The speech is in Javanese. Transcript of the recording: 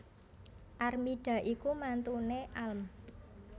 Armida iku mantune alm